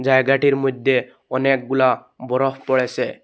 জায়গাটির মইধ্যে অনেকগুলা বরফ পড়েসে ।